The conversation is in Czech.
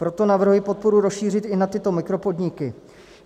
Proto navrhuji podporu rozšířit i na tyto mikropodniky.